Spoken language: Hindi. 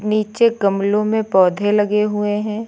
नीचे गमलों में पौधे लगे हुए हैं।